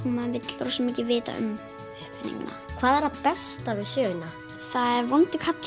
maður vill vita um hana hvað er það besta við söguna það er vondur karl